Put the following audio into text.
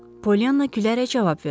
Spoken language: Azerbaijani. Polianna gülərək cavab verdi: